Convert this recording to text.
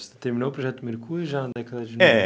Você terminou o Projeto Mercúrio já na década de no. É